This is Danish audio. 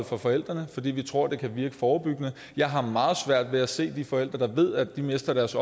fra forældrene fordi vi tror det kan virke forebyggende jeg har meget svært ved at se de forældre der ved at de mister deres